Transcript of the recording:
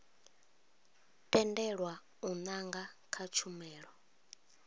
tendelwa u nanga kha tshumelo